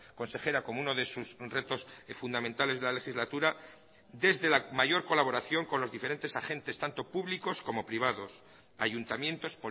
consejera como uno de sus retos fundamentales de la legislatura desde la mayor colaboración con los diferentes agentes tanto públicos como privados ayuntamientos